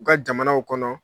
U ka jamanaw kɔnɔ